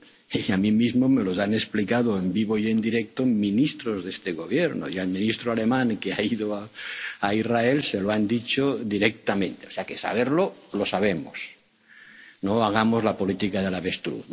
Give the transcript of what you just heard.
Y a mí mismo me los han explicado en vivo y en directo ministros de ese gobierno. Y al ministro alemán, que ha ido a Israel, se lo han dicho directamente. O sea, que saberlo, lo sabemos. No hagamos la política del